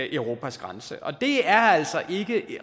europas grænser og det er altså ikke